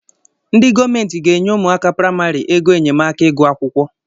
Ndị gọọmenti ga-enye ụmụaka praimari ego enyemaka ịgụ akwụkwọ